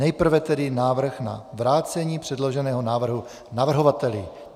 Nejprve tedy návrh na vrácení předloženého návrhu navrhovateli.